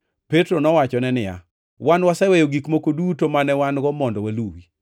Petro nowachone niya, “Wan waseweyo gik moko duto mane wan-go mondo waluwi!”